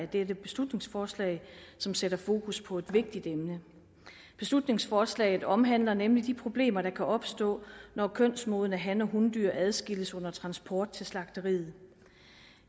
dette beslutningsforslag som sætter fokus på et vigtigt emne beslutningsforslaget omhandler nemlig de problemer der kan opstå når kønsmodne han og hundyr adskilles under transport til slagteriet